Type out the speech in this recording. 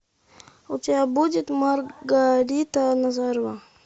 у тебя будет маргарита назарова